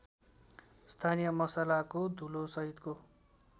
स्थानीय मसलाको धुलोसहितको